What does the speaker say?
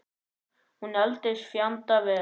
Hún eldist fjandi vel.